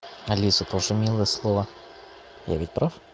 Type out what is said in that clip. алиса тоже милое слово я ведь прав